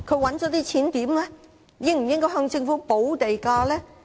領展應否向政府補地價呢？